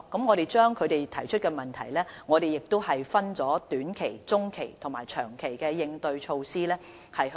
我們將他們提出的問題分為短、中及長期來制訂應對措施。